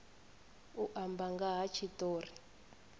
u amba nga ha tshitori